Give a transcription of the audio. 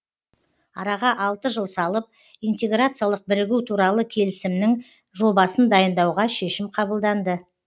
араға алты жыл салып интеграциялық бірігу туралы келісімнің жобасын дайындауға шешім қабылданды